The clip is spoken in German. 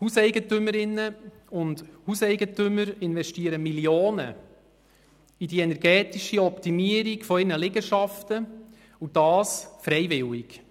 Hauseigentümerinnen und Hauseigentümer investieren Millionen in die energetische Optimierung ihrer Liegenschaften, und sie tun es freiwillig.